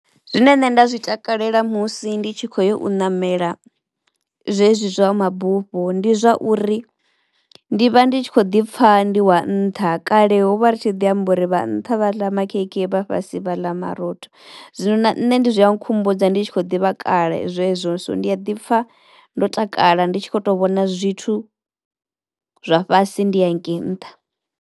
Zwine nṋe nda zwi takalela musi ndi tshi khou yo u ṋamela zwezwi zwa mabufho ndi zwauri ndi vha ndi tshi kho ḓi pfha ndi wa nṱha. Kale ho vha ri tshi ḓi amba uri vha nṱha vha ḽa makhekhe vha fhasi vha ḽa marotho zwino na nṋe zwi a nkhumbudza ndi tshi kho ḓivha kale zwezwo so ndi a ḓi pfha ndo takala ndi tshi kho to vhona zwithu zwa fhasi ndi hangei nṱha.